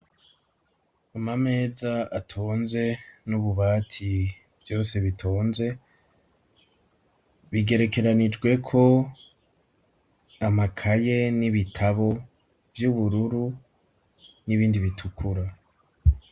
Amameza atonze, n'ububati vyose bitonze, bigerekeranijweko amakaye n'ibitabo vy'ubururu, n'ibindi bitukura.